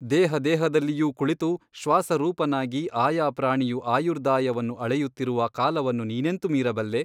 ದೇಹದೇಹದಲ್ಲಿಯೂ ಕುಳಿತು ಶ್ವಾಸರೂಪನಾಗಿ ಆಯಾ ಪ್ರಾಣಿಯು ಆಯುರ್ದಾಯವನ್ನು ಅಳೆಯುತ್ತಿರುವ ಕಾಲವನ್ನು ನೀನೆಂತು ಮೀರಬಲ್ಲೆ ?